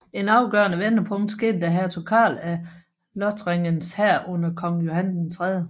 Et afgørende vendepunkt skete da Hertug Karl af Lothringens hær under kong Johan 3